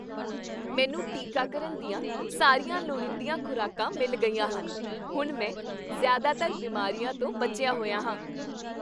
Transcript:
ਮੈਨੂੰ ਟੀਕਾਕਰਨ ਦੀਆਂ ਸਾਰੀਆਂ ਲੋੜੀਂਦੀਆਂ ਖ਼ੁਰਾਕਾਂ ਮਿਲ ਗਈਆਂ ਹਨ। ਹੁਣ ਮੈਂ ਜ਼ਿਆਦਾਤਰ ਬਿਮਾਰੀਆਂ ਤੋਂ ਬਚਿਆ ਹੋਇਆ ਹਾਂ।